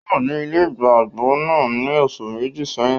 Ò wà ní ilé ìgbàgbọ náà ní oṣù Méjì sẹ́yìn